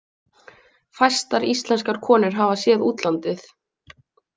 Fæstar íslenskar konur hafa séð útlandið.